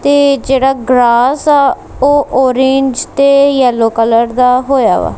ਤੇ ਜਿਹੜਾ ਗਰਾਸ ਆ ਉਹ ਓਰੇਂਜ ਤੇ ਯੈਲੋ ਕਲਰ ਦਾ ਹੋਇਆ ਵਾ।